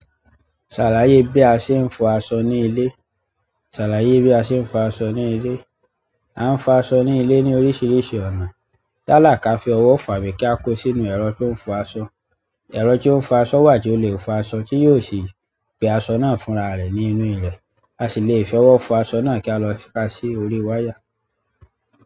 Ṣàlàyé bí a ṣe ń fọ aṣọ ní ilé. À ń fọ aṣọ ní ilé ní oríṣiríṣi ọ̀nà. Yálà kí a fi ọwọ́ fà á bí kí a kó sínú ẹ̀rọ tó ń fọ aṣọ. Ẹ̀rọ tó ń fọ aṣọ wà tí ó lè fọ aṣọ tí yóò sì gbé aṣọ náà fúnra rẹ̀ nínú ré. A sì lè fi ọwọ́ fọ aṣọ náà kí a lọ ká sí orí wáyà.